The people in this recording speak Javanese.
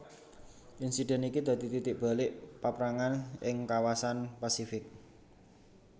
Insiden iki dadi titik balik paperangan ing kawasan Pasifik